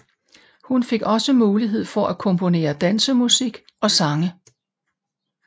Hun fik også mulighed for at komponere dansemusik og sange